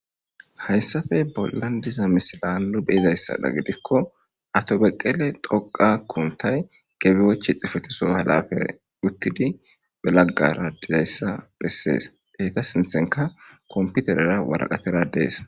hayssafe bollan diza misila lupheizayssada gidikko atobeqqele doqa kuntay gebiwoche xifeteso halafey uttidi belaggara dizayssa bessees deyta sinthenka komputerera waraqatera dees